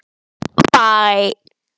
Eru þær raunar minni en vænta mátti.